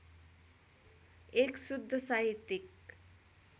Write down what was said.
१ शुद्ध साहित्यिक